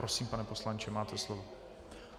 Prosím, pane poslanče, máte slovo.